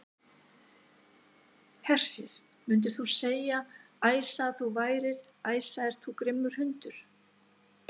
Hersir: Myndir þú segja, Æsa, að þú værir, Æsa ert þú grimmur hundur?